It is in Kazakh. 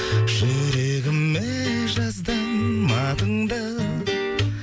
жүрегіме жаздым атыңды